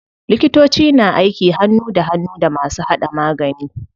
Likitoci na aiki hannu da hannu da masu hada magani.